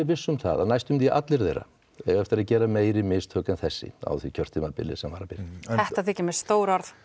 viss um það að næstum því allir þeirra eiga eftir að gera meiri mistök en þessi á því kjörtímabili sem var að byrja núna þetta þykir mér stór orð